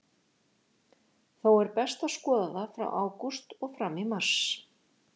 Þó er best að skoða það frá ágúst og fram í mars.